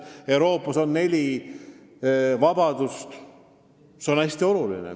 Euroopas on aus neli vabadust, mis on hästi olulised.